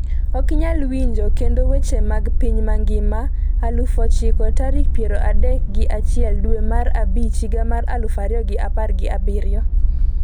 Ok inyal winjo kendo weche mag piny mangima aluf achiek tarik piero adek gi achiel dwe mar abich higa mar aluf ariyo gi apar gi abiriyo